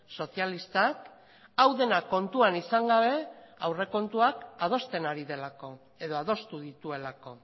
sozialistak hau dena kontuan izan gabe aurrekontuak adosten ari delako edo adostu dituelako